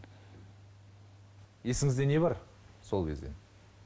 есіңізде не бар сол кезден